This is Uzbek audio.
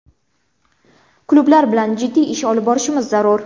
Klublar bilan jiddiy ish olib borishimiz zarur.